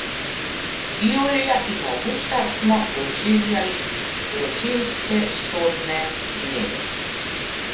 Julija in avgusta smo doživljali vročinske sodne dneve.